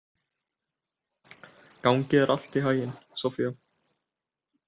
Gangi þér allt í haginn, Soffía.